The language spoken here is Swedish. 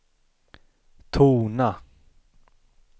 tona